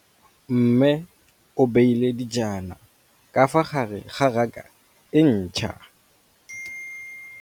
Mmê o beile dijana ka fa gare ga raka e ntšha.